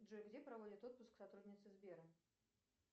джой где проводят отпуск сотрудницы сбера